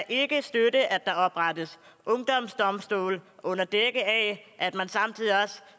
ikke støtte at der oprettes ungdomsdomstole under dække af at man samtidig